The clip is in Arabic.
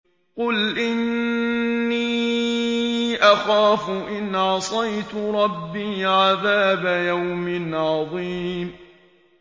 قُلْ إِنِّي أَخَافُ إِنْ عَصَيْتُ رَبِّي عَذَابَ يَوْمٍ عَظِيمٍ